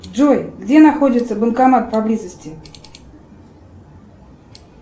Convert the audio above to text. джой где находится банкомат поблизости